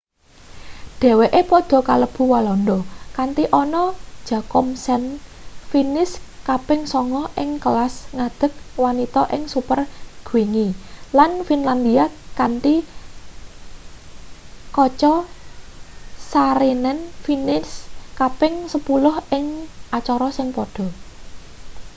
dheweke padha kalebu walanda kanthi anna jochemsen finis kaping sanga ing kelas ngadeg wanita ing super-gwingi lan finlandia kanthi katja saarinen finis kaping sepuluh ing acara sing padha